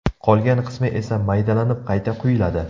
Qolgan qismi esa maydalanib, qayta quyiladi.